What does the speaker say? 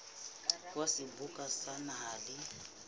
wa seboka sa naha le